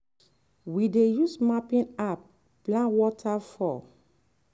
we dey use mapping app plan water flow.